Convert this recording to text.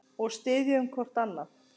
Og styðjum hvort annað.